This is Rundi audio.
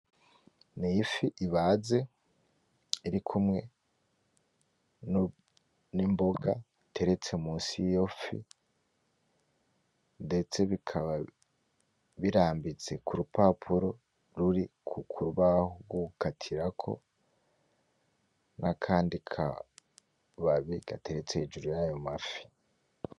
N'ifi ibaze irikumwe n'imboga iteretse munsi yiyo fi. Ndetse bikaba birambitse kurupapuro ruri kurubaho rwogukatirako, nakandi kababi gateretse hejuru yayo mafi.